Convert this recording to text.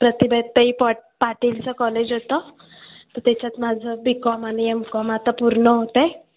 प्रतिभाताई पॉ ट पाटील च college होत त्याच्यात माझं Bcom आणि Mcom आता पूर्ण होतंय.